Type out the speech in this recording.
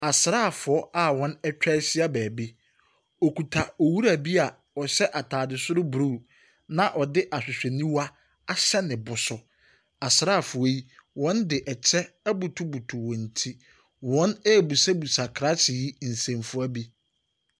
Asraafoɔ a wɔatwa ahyia baabi. Wɔkuta ɔwura bi a ɔhyɛ atade soro blue, na ɔde ahwehwɛniwa ahyɛ ne bo so. Asraafoɔ yi, wɔde kyɛ abutubutu wɔn ti. Wɔrebisabisa krakye yi nsɛmfua bi.